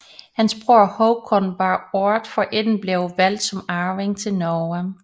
Hans bror Håkon var året forinden blevet valgt som arving til Norge